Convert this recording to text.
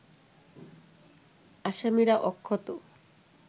আসামিরা অক্ষত